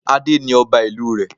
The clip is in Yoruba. Adé ni ọba ìlú rẹ̀